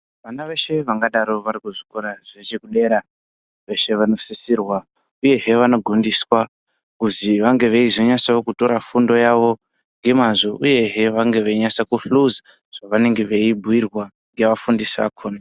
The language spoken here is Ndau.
Vana veshe vangadai vari kuzvikora zvedera veshe vanosisirwa uyehe vanogondeswa kuzi vange veizonyatso tora fundo yavo ngemazvo uyehe vange veinyatsohluza zvevange vei bhuyirwa ngeafundisi akona.